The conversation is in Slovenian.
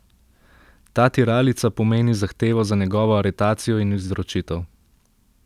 Ta tiralica pomeni zahtevo za njegovo aretacijo in izročitev.